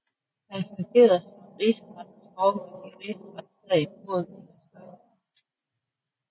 Han fungerede som rigsrettens formand i Rigsretssagen mod Inger Støjberg